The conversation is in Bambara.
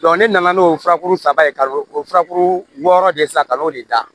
ne nana n'o furakuru saba ye kalo o furakuru wɔɔrɔ de san kalo de da